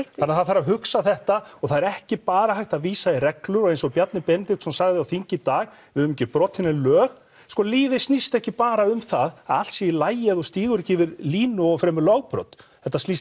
þannig að það þarf að hugsa þetta og það er ekki bara hægt að vísa í reglur og eins og Bjarni Benediktsson sagði á þingi í dag við höfum ekki brotið nein lög sko lífið snýst ekki bara um það að allt sé í lagi ef þú stígur ekki yfir línu og fremur lögbrot þetta snýst